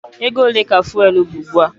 Ego ole ka fụ́élú bụ ugbu a?